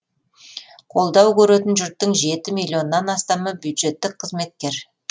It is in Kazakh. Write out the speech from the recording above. қолдау көретін жұрттың жеті миллионнан астамы бюджеттік қызметкер